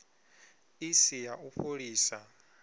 i si ya u fholisa